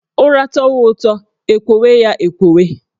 Ụra tọwa ụtọ, e kwowe ya e kwowe